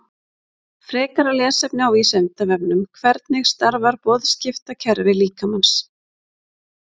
Frekara lesefni á Vísindavefnum: Hvernig starfar boðskiptakerfi líkamans?